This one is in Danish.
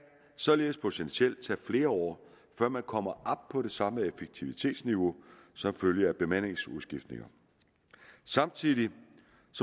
således potentielt tage flere år før man kommer op på det samlede effektivitetsniveau som følge af bemandingsudskiftninger samtidig